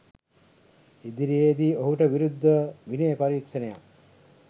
ඉදිරියේදී ඔහුට විරුද්ධව විනය පරීක්ෂණයක්